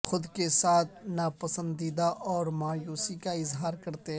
خود کے ساتھ ناپسندیدہ اور مایوسی کا اظہار کرتے ہیں